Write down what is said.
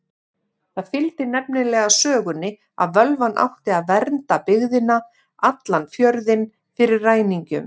Það fylgdi nefnilega sögunni að völvan átti að vernda alla byggðina, allan fjörðinn, fyrir ræningjum.